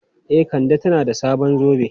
E, Kande tana da sabon zobe.